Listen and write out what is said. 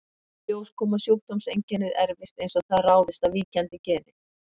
Í ljós kom að sjúkdómseinkennið erfist eins og það ráðist af víkjandi geni.